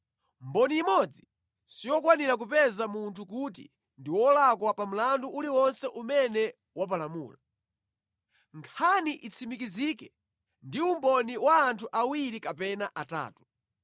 Mboni imodzi siyokwanira kupeza munthu kuti ndi wolakwa pa mlandu uliwonse umene wapalamula. Nkhani itsimikizike ndi umboni wa anthu awiri kapena atatu.